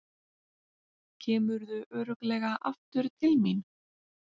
Kemurðu örugglega aftur til mín?